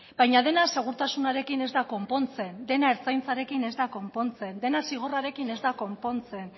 baina dena segurtasunarekin ez da konpontzen dena ertzaintzarekin ez da konpontzen dena zigorrarekin ez da konpontzen